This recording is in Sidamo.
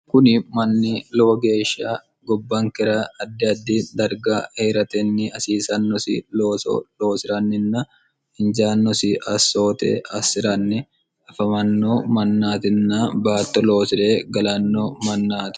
kuni manni lowo geeshiya gobbankera addi addi darga eeratenni asiisannosi looso loosi'ranninna injaannosi assoote assi'ranni afamanno mannaatinna baatto loosi're galanno mannaati